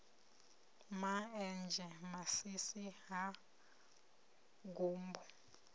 ma enzhe masisi ha gumbu